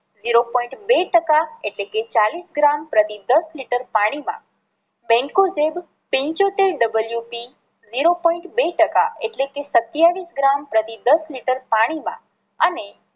zero point બે ટકા એટલે કે ચાલીસ ગ્રામ પ્રતિ દસ લિટર પાણી માં mankozeb પંચોતેર અને double UC ઝીરો પોઈન્ટ બે ટકા એટલે કે સતાવીસ ગ્રામ પ્રતિ દસ લિટર પાણી માં